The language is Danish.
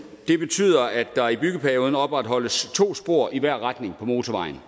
det betyder at der i byggeperioden opretholdes to spor i hver retning på motorvejen